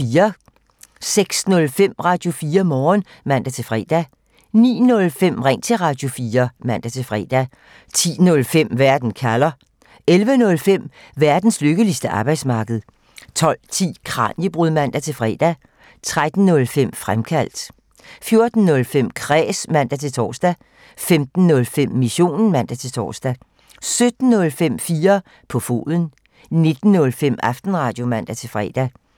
06:05: Radio4 Morgen (man-fre) 09:05: Ring til Radio4 (man-fre) 10:05: Verden kalder (man) 11:05: Verdens lykkeligste arbejdsmarked (man) 12:10: Kraniebrud (man-fre) 13:05: Fremkaldt (man) 14:05: Kræs (man-tor) 15:05: Missionen (man-tor) 17:05: 4 på foden (man) 19:05: Aftenradio (man-fre)